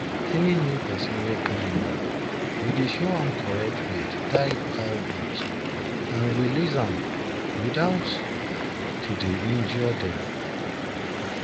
any new person wey come work we show am correct way to tie cowgoat and release am without to dey injure dem